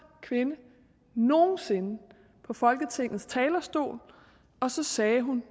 kvinde nogen sinde på folketingets talerstol og så sagde hun